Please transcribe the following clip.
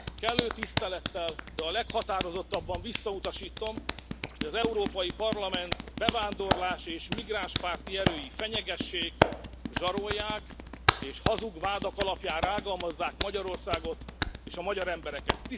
Kellő tisztelettel, de a leghatározottabban visszautasítom, hogy az Európai Parlament bevándorlás és migránspárti erői fenyegessék, zsarolják és hazug vádak alapján rágalmazzák Magyarországot és a magyar embereket.